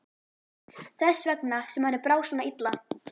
Þess vegna sem henni brá svona illa.